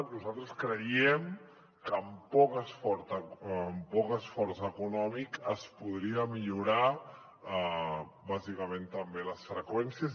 nosaltres creiem que amb poc esforç econòmic es podrien millorar bàsicament també les freqüències